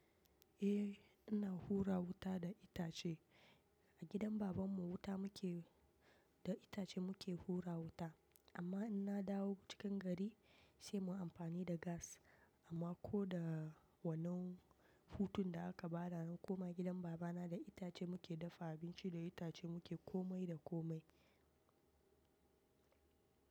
Eh, ina hura wuta da itace a gidan babanmu wuta muke da itace muke hura wuta. Amma ina dawo cikin gari sai mu amfani da gas amma ko da wannan hutun da aka bada kuma gidan baba na da itace muke dafa abinci da itace muke komai da komai.